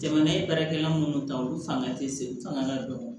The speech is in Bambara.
Jamana ye baarakɛla munnu ta olu fanga tɛ se fanga ka dɔgɔ